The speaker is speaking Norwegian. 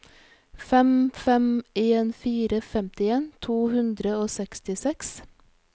fem fem en fire femtien to hundre og sekstiseks